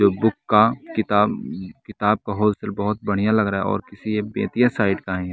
जो बुक का किताब किताब का होस्टर बहोत बढ़िया लग रहा है और किसी बेतिया साइड का ही है।